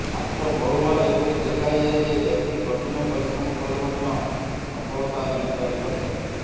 ମାତ୍ର ବହୁବାର ଏପରି ଦେଖାଯାଏ ଯେ ବ୍ୟକ୍ତି କଠିନ ପରିଶ୍ରମ କଲେ ମଧ୍ୟ ସଫଳତା ମିଳିପାରିନଥାଏ